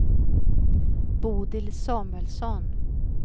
Bodil Samuelsson